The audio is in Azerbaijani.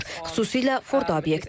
Xüsusilə Fordo obyekti.